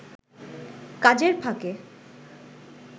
কাজের ফাঁকে